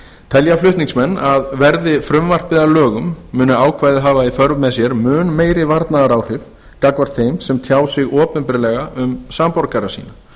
telja flutningsmenn að verði frumvarpið að lögum muni ákvæðið hafa í för með sér mun meiri varnaðaráhrif gagnvart þeim sem tjá sig opinberlega um samborgara sína